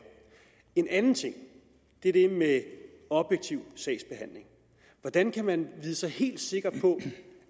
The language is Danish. en anden ting er det med objektiv sagsbehandling hvordan kan man vide sig helt sikker på